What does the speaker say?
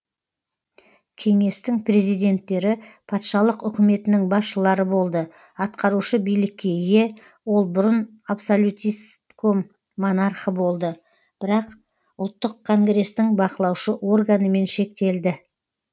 кеңестің президенттері патшалық үкіметінің басшылары болды атқарушы билікке ие ол бұрын абсолютистском монархы болды бірақ ұлттық конгрестің бақылаушы органымен шектелді